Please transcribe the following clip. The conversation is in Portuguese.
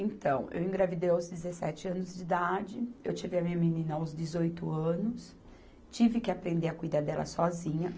Então, eu engravidei aos dezessete anos de idade, eu tive a minha menina aos dezoito anos, tive que aprender a cuidar dela sozinha.